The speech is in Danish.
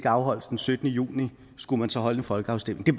afholdes den syttende juni skulle man så holde en folkeafstemning det